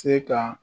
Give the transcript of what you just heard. Se ka